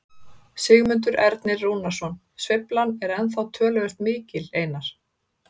Sigmundur Ernir Rúnarsson: Sveiflan er ennþá töluvert mikil Einar?